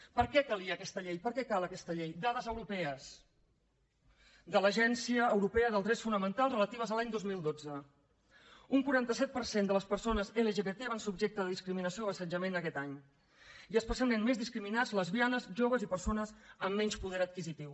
per què calia aquesta llei per què cal aquesta llei dades europees de l’agència europea dels drets fonamentals relatives a l’any dos mil dotze un quaranta set per cent de les persones lgbt van ser objecte de discriminació o assetjament aquest any i especialment més discriminats lesbianes joves i persones amb menys poder adquisitiu